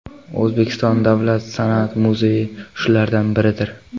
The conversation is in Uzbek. O‘zbekiston davlat san’at muzeyi shulardan biridir.